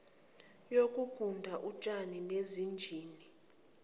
yokuguda utshani nezinjini